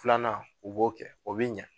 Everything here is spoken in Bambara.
Filanan u b'o kɛ o bi ɲɛ